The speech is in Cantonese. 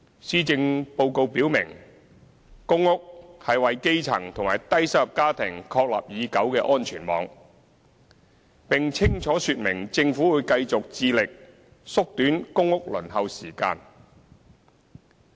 施政報告表明，公屋是為基層及低收入家庭確立已久的安全網，並清楚說明政府會繼續致力縮短公屋輪候時間。